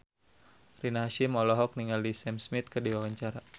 Rina Hasyim olohok ningali Sam Smith keur diwawancara